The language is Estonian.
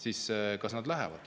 siis kas nad lähevad?